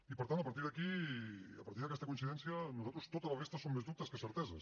i per tant a partir d’aquí a partir d’aquesta coincidència per nosaltres tota la resta són més dubtes que certeses